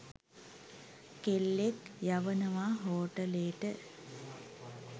කෙල්ලෙක්‌ යවනවා හෝටලේට